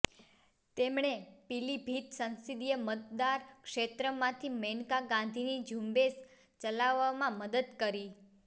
તેમણે પીલીભિત સંસદીય મતદારક્ષેત્રમાંથી મેનકા ગાંધીની ઝુંબેશ ચલાવવામાં મદદ કરી